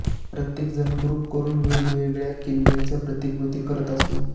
प्रत्येक जण ग्रुप करून वेगवेगळ्या किल्ल्यांच्या प्रतिकृती करत असू